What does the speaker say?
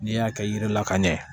N'i y'a kɛ yiri la ka ɲɛ